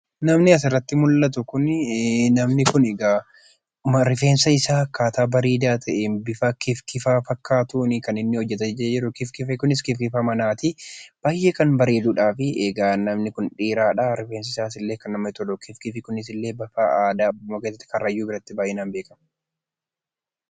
Namni asirratti mul'atu kunnnama egaa rifeensa isaa akkaataa bareedaa ta'een bifa kifkifaa ta'een kan inni hojjetatee jiru. Kifkifni kunis kifkifa manaati. Baay'ee kan bareeduudhaa. Egaa namni kun dheeraadha, rifeensi isaas baay'ee kan namatti toludha. Kunis aadaa Karrayyuu buratti baa'inaan beekama.